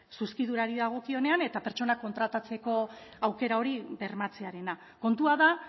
zuzkidurari dagokionean eta pertsona kontratatzeko aukera hori bermatzearena kontua da